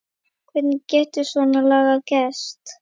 Hvernig getur svona lagað gerst?